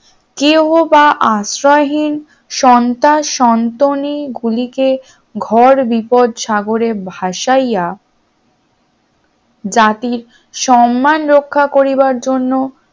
কেউ বা আশ্রয়হীন সন্তান সন্তানি গুলিকে ভর বিপদ সাগরে ভাসাইয়া জাতির সম্মান রক্ষা করিবার জন্য